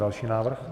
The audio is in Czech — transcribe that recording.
Další návrh.